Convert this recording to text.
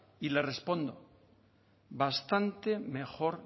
y le respondo bastante mejor